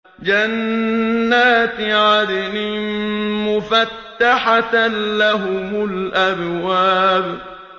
جَنَّاتِ عَدْنٍ مُّفَتَّحَةً لَّهُمُ الْأَبْوَابُ